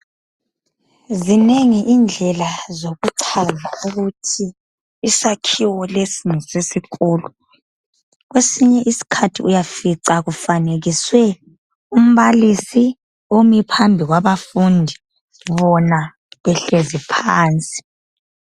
Zinengi indlela zokuchaza ukuthi isakhiwo lesi ngesesikolo kwesinye isikhathi uyafica kufanekiswe umbalisi omi phambi kwabafundi bona behlezi phansi.